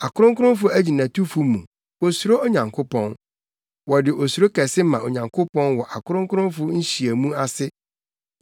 Akronkronfo agyinatufo mu, wosuro Onyankopɔn; wɔde osuro kɛse ma Onyankopɔn wɔ akronkronfo nhyiamu ase.